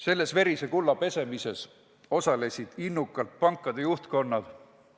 Selles verise kulla pesemises osalesid innukalt pankade juhtkonnad.